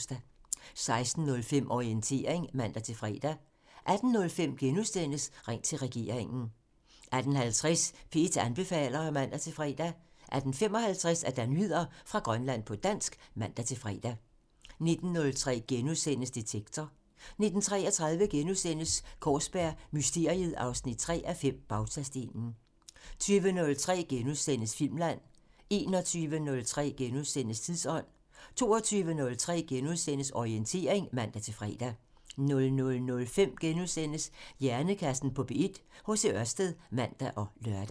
16:05: Orientering (man-fre) 18:05: Ring til regeringen *(man) 18:50: P1 anbefaler (man-fre) 18:55: Nyheder fra Grønland på dansk (man-fre) 19:03: Detektor *(man) 19:33: Kaarsberg Mysteriet 3:5 – Bautastenen * 20:03: Filmland *(man) 21:03: Tidsånd *(man) 22:03: Orientering *(man-fre) 00:05: Hjernekassen på P1: H.C. Ørsted *(man og lør)